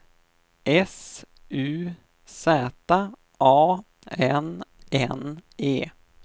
S U Z A N N E